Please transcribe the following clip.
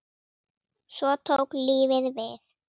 Svo tók lífið við.